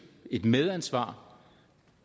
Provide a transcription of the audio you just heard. et medansvar